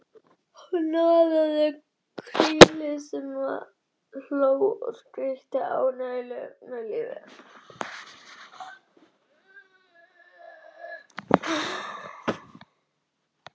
Hún hnoðaði krílið sem hló og skríkti af ánægju með lífið.